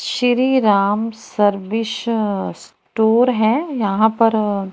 शीरी Ram service store है यहां पर--